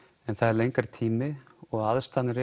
en það er lengri tími og aðstæðurnar